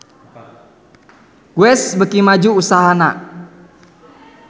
Guess beuki maju usahana